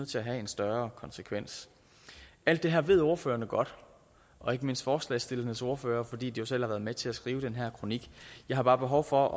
til at have en større konsekvens alt det her ved ordførerne godt og ikke mindst forslagsstillernes ordfører fordi de jo selv har været med til at skrive den her kronik jeg har bare behov for